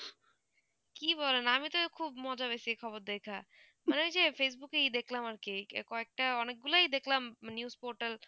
কি বলেন আমি তো খুব মজা পেয়েছি এই খবর দেখা মানে কি facebook ই দেখলাম আর কি কয়েকটা অনেকগুলাই দেখলাম news portal